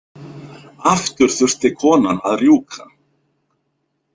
Aftur þurfti konan að rjúka.